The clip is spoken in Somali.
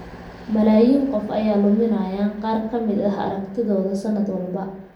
Malaayiin qof ayaa luminaya qaar ka mid ah aragtidooda sanad walba.